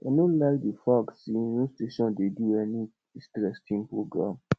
no like the fact say no station dey di any interesting program